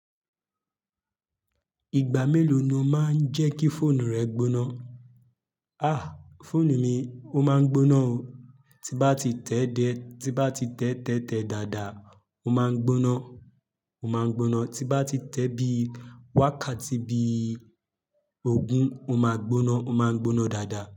Ìgbà mélòó ni o máa ń jẹ́ kí fóònù rẹ gbóná? A! Fóònù mi, ó máa ń gbóná o. Tí bá ti tẹ́ de-- tí bá ti tẹ́tẹ́ tẹ dàdà, ó máa n gbóná, ó máa n gbóná. Tí bá ti tẹ́ bí wákàtí bí ogún, ó máa gbóná, ó máa n gbóná dàdà.